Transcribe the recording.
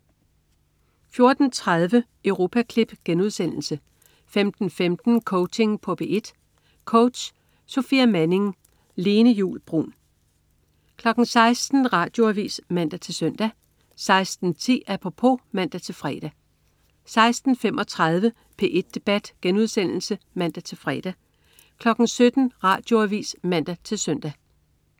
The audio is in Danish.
14.30 Europaklip* 15.15 Coaching på P1. Coach: Sofia Manning. Lene Juul Bruun 16.00 Radioavis (man-søn) 16.10 Apropos (man-fre) 16.35 P1 Debat* (man-fre) 17.00 Radioavis (man-søn)